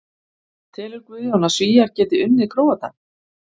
Telur Guðjón að Svíar geti unnið Króata?